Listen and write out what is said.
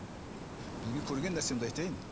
білген көрген нәрсемді айтайын